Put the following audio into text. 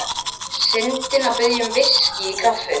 Syndin mun biðja um VISKÍ í kaffið.